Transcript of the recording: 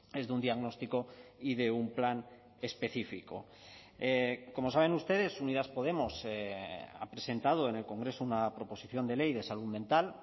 es de un diagnóstico y de un plan específico como saben ustedes unidas podemos ha presentado en el congreso una proposición de ley de salud mental